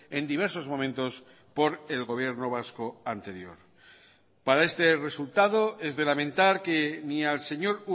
en diversos momentos por el gobierno vasco anterior para este resultado es de lamentar que ni al señor